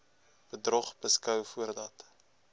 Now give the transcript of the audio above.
bedrog beskou voordat